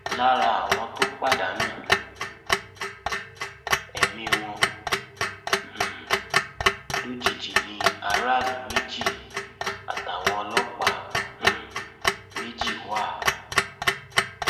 lára àwọn tó pàdánù ẹmí wọn um lójijì ni aráàlú méjì àtàwọn ọlọpàá um méjì wà